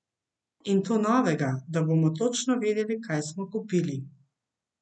In to novega, da bomo točno vedeli, kaj smo kupili.